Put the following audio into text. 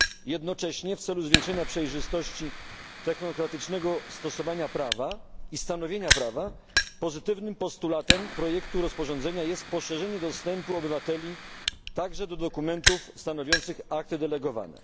Jednocześnie, w celu zwiększenia przejrzystości technokratycznego stosowania prawa i stanowienia prawa, pozytywnym postulatem projektu rozporządzenia jest poszerzenie dostępu obywateli także do dokumentów stanowiących akty delegowane.